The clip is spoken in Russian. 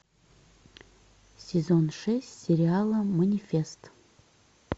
сезон шесть сериала манифест